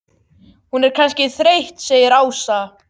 Hún er kannski þreytt segir Ása.